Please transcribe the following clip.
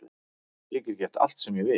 Ég get gert allt sem ég vil